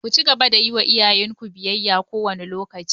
Ku cigaba da yi wa iyayen ku biyayya kowane lokaci!